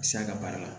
Siya ka baara la